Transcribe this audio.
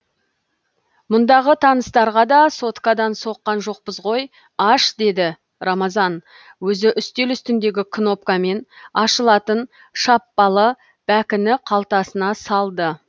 мұндағы таныстарға да соткадан соққан жоқпыз ғой аш деді рамазан өзі үстел үстіндегі кнопкамен ашылатын шаппалы бәкіні қалтасына салды